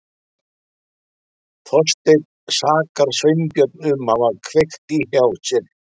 Þorsteinn sakar Sveinbjörn um að hafa kveikt í hjá sér.